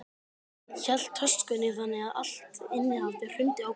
Hann hélt töskunni þannig að allt innihaldið hrundi á gólfið.